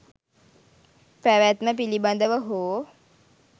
පැවැත්ම පිළිබඳව හෝ